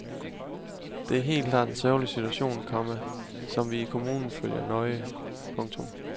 Det er helt klart en sørgelig situation, komma som vi i kommunen følger nøje. punktum